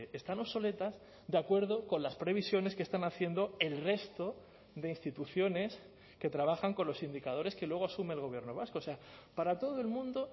están obsoletas de acuerdo con las previsiones que están haciendo el resto de instituciones que trabajan con los indicadores que luego asume el gobierno vasco o sea para todo el mundo